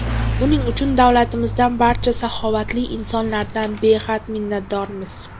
Buning uchun davlatimizdan, barcha saxovatli insonlardan behad minnatdormiz.